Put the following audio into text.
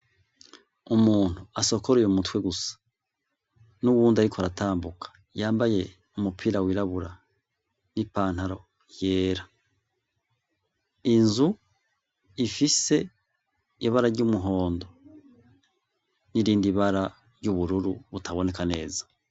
umuntu asokoroye umutwe gusa n'uwundi ariko aratambuka yambaye umupira wirabura n’ipantaro yera, inzu ifise ibara ry'umuhondo n'irindi bara ry'ubururu butaboneka neza.